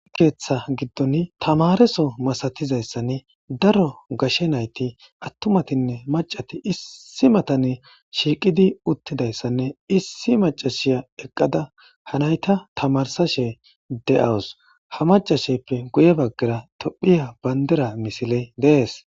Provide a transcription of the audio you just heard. Keeththa giddon tamareso masatizayssanne daro gashe nayti attumatinne macati issi matane shiiqidi uttidayssanne issi macashiya eqqada ha nayta tamarsashe de7awus ha macasheppe guye baggara tophiya bayndera misile dees,